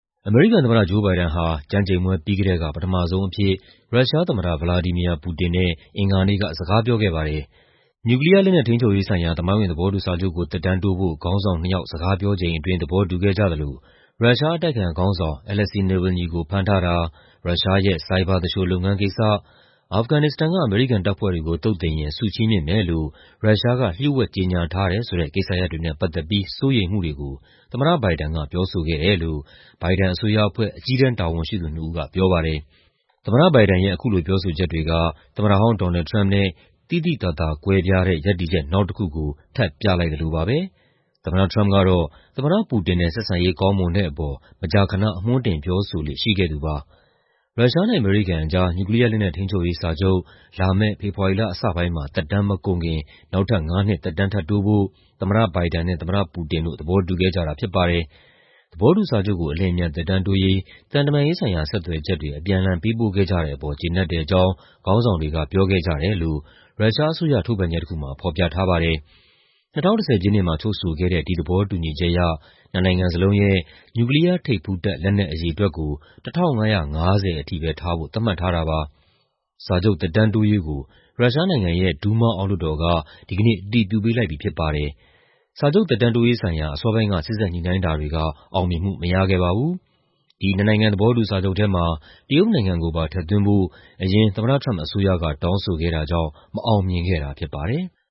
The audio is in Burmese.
အမေရိကန်သမ္မတ ဂျိုး ဘိုင်ဒန်ဟာ ကျမ်းကျိန်ပွဲပြီးကတည်းက ပထမဆုံးအဖြစ် ရုရှားသမ္မတ ဗလာဒီမီယာ ပူတင်နဲ့ အင်္ဂါနေ့က စကားပြောခဲ့ပါတယ်။ နျူကလီးယားလက်နက် ထိန်းချုပ်ရေးဆိုင်ရာ သမိုင်းဝင် သဘောတူစာချုပ်ကို သက်တမ်းတိုးဖို့ ခေါင်းဆောင်နှစ်ယောက် စကားပြောချိန်အတွင်း သဘောတူခဲ့ကြသလို ရုရှားအတိုက်အခံခေါင်းဆောင် Alexei Navalny ကို ဖမ်းထားတာ၊ ရုရှားရဲ့ ဆိုင်ဘာသူလ ျှိုလုပ်ငန်းကိစ္စ၊ အာဖဂန်နစ္စတန်က အမေရိကန်တပ်ဖွဲ့တွေကို သုတ်သင်ရင် ဆုချီးမြှင့်မယ်လို့ ရုရှားက လ ျှို့ဝှက်ကြေညာထားတယ်ဆိုတဲ့ ကိစ္စရပ်တွေနဲ့ ပတ်သက်ပြီး စိုးရိမ်မှုတွေကို သမ္မတဘိုင်ဒန်က ပြောဆိုခဲ့တယ်လို့ ဘိုင်ဒန်အစိုးရအဖွဲ့ အကြီးတန်းတာဝန်ရှိသူနှစ်ဦးက ပြောပါတယ်။ သမ္မတဘိုင်ဒန်ရဲ့ အခုလိုပြောဆိုချက်တွေက သမ္မတဟောင်း ဒေါ်နယ်လ်ဒ် ထရမ့်ပ်နဲ့ သိသိသာသာကွဲပြားတဲ့ ရပ်တည်ချက် နောက်တခုကို ထပ်ပြလိုက်သလိုပါပဲ။ သမ္မတထရမ့်ပ်ကတော့ သမ္မတတပူတင်နဲ့ ဆက်ဆံရေးကောင်းမွန်တဲ့အပေါ် မကြာခဏ အမွှမ်းတင်ပြောဆိုလေ့ရှိခဲ့သူပါ။ ရုရှားနဲ့အမေရိကန်ကြား နျူကလီးယားလက်နက် ထိန်းချုပ်ရေးစာချုပ် လာမယ့် ဖေဖော်ဝါရီလအစပိုင်းမှာ သက်တမ်းမကုန်ခင် နောက်ထပ်ငါးနှစ် သက်တမ်းထပ်တိုးဖို့ သမ္မတဘိုင်ဒန်နဲ့ သမ္မတပူတင်တို့ သဘောတူခဲ့ကြတာဖြစ်ပါတယ်။ သဘောတူစာချုပ်ကို အလျင်အမြန်သက်တမ်းတိုးရေး သံတမန်ရေးဆိုင်ရာ ဆက်သွယ်ချက်တွေ အပြန်အလှန် ပေးပို့ခဲ့ကြတဲ့အပေါ် ကျေနပ်တဲ့အကြောင်း ခေါင်းဆောင်တွေက ပြောခဲ့ကြတယ်လို့ ရုရှားအစိုးရ ထုတ်ပြန်ချက်တခုမှာ ဖော်ပြထားပါတယ်။ ၂၀၁၀ ပြည့်နှစ်မှာ ချုပ်ဆိုခဲ့တဲ့ ဒီသဘောတူညီချက်အရ နှစ်နိုင်ငံစလုံးရဲ့ နျူကလီးယားထိပ်ဖူးတပ် လက်နက်အရေအတွက်ကို ၁,၅၅၀ ထိပဲထားဖို့ သတ်မှတ်ထားတာပါ။ စာချုပ်သက်တမ်းတိုးရေးကို ရုရှားနိုင်ငံရဲ့ ဒူးမား အောက်လွှတ်တော်က ဒီကနေ့ အတည်ပြုပေးလိုက်ပြီဖြစ်ပါတယ်။ စာချုပ်သက်တမ်းတိုးရေးဆိုင်ရာ အစောပိုင်းက စေ့စပ်ညှိနှိုင်းတာတွေက အောင်မြင်မှုမရခဲ့ပါဘူး။ ဒီ နှစ်နိုင်ငံသဘောတူစာချုပ်ထဲမှာ တရုတ်နိုင်ငံကိုပါ ထည့်သွင်းဖို့ အရင် သမ္မတထရမ့်ပ်အစိုးရက တောင်းဆိုခဲ့တာကြောင့် မအောင်မြင်ခဲ့တာဖြစ်ပါတယ်။